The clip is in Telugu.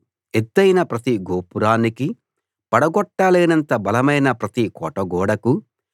ఎత్తయిన ప్రతి గోపురానికీ పడగొట్టలేనంత బలమైన ప్రతి కోటగోడకూ